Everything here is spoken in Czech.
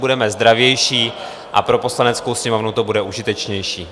Budeme zdravější a pro Poslaneckou sněmovnu to bude užitečnější.